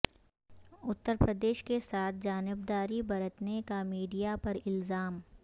اترپردیش کے ساتھ جانبداری برتنے کا میڈیا پر الزام